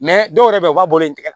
dɔw yɛrɛ bɛ yen u b'a bolo in tigɛ